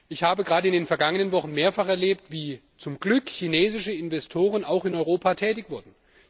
Ich habe gerade in den vergangenen Wochen mehrfach erlebt, wie zum Glück chinesische Investoren auch in Europa tätig wurden.